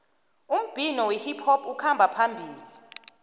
umbhino wehiphop ukhamba phambili